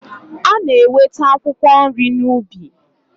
A na-enweta akwụkwọ nri n'ubi.